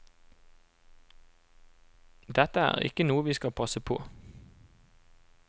Dette er ikke noe vi skal passe på.